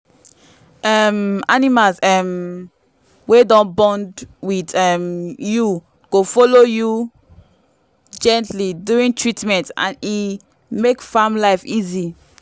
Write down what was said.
um animals um wey don bond with um you go follow you gently during treatment and e make farm life easy.